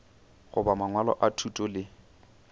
goba mangwalo a thuto le